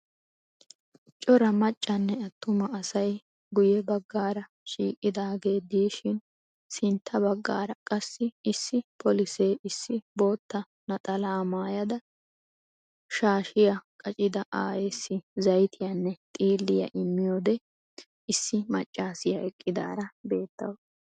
Cora maccanne atuma asay guye bagaara shiiqidaagee dishiin sintta bagaara qassi issi polise issi bootta naxalaa maayada shaaahiya qaccida aayeessi zayttiyanne xiiliya immiyode issi maccaassiya eqidaara beettawusu.